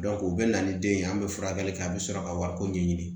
u bɛ na ni den ye an bɛ furakɛli kɛ a bɛ sɔrɔ ka wariko ɲɛɲini